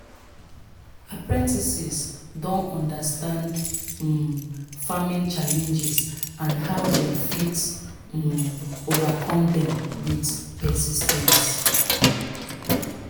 apprentices don understand um farming challenges and how dem fit um overcome them with persis ten ce